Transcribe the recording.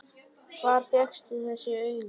Hvar fékkstu þessi augu?